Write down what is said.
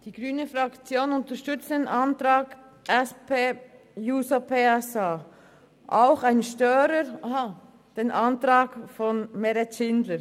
Die grüne Fraktion unterstützt den Antrag von Grossrätin Schindler.